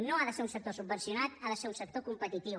no ha de ser un sector subvencionat ha de ser un sector competitiu